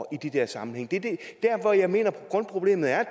i de der sammenhænge det er der hvor jeg mener grundproblemet er